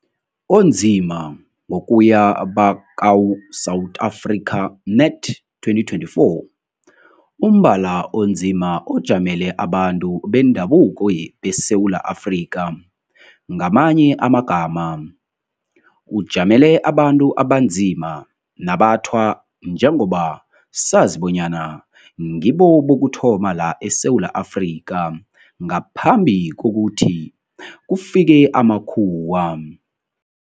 Onzima-Ngokuya bakaw-South Africa Net, 2024, umbala onzima ojamele abantu bendabuko beSewula Afrika. Ngamanye amagama, ujamele abantu abanzima nabathwa njengoba sazi bonyana ngibo bokuthoma la eSewula Afrka ngaphambi kokuthi kufike amakhuwa.